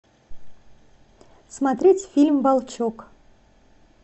смотреть фильм волчок